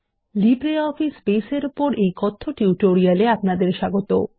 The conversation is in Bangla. লিব্রিঅফিস বেস এর উপর এই কথ্য টিউটোরিয়াল এ আপনাদের স্বাগত